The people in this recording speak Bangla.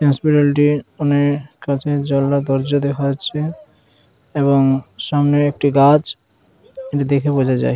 এই হসপিটালটি অনেক কাঁচের জানালা দরজা দেখা যাচ্ছে | এবং সামনে একটি গাছ এটি দেখে বোঝা যায় |